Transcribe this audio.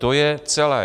To je celé.